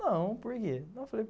Não, por quê?